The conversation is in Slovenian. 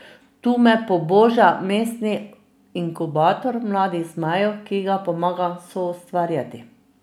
Tu me poboža Mestni inkubator Mladih zmajev, ki ga pomagam soustvarjati.